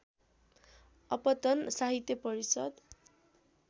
अपतन साहित्य परिषद्